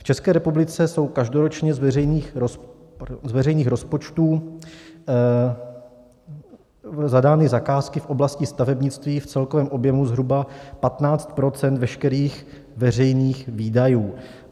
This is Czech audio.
V České republice jsou každoročně z veřejných rozpočtů zadány zakázky v oblasti stavebnictví v celkovém objemu zhruba 15 % veškerých veřejných výdajů.